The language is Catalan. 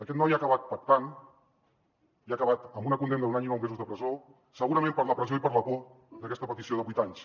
aquest noi ha acabat pactant i ha acabat amb una condemna d’un any i nou mesos de presó segurament per la pressió i per la por d’aquesta petició de vuit anys